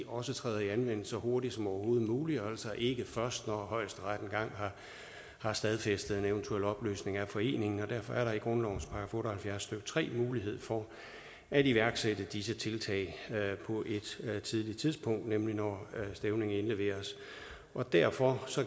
også træder i anvendelse så hurtigt som overhovedet muligt og altså ikke først når højesteret engang har stadfæstet en eventuel opløsning af foreningen og derfor er der i grundlovens § otte og halvfjerds stykke tre mulighed for at iværksætte disse tiltag på et tidligt tidspunkt nemlig når stævningen indleveres derfor